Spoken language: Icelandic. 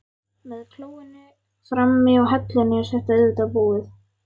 Með klóinu frammi og hellunni er þetta auðvitað íbúð.